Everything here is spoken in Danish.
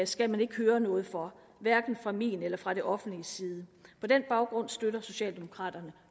skal man ikke høre noget for hverken fra min eller fra det offentliges side på den baggrund støtter socialdemokraterne